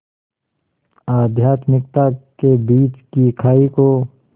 आध्यात्मिकता के बीच की खाई को